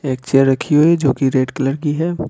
एक चेयर रखी हुई है जो कि रेड कलर की है ।